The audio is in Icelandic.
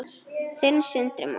Þinn, Sindri Már.